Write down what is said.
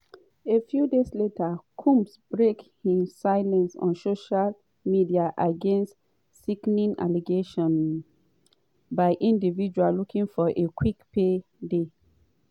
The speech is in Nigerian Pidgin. a few days later combs break im silence on social media against "sickening allegations by individuals looking for a quick pay day".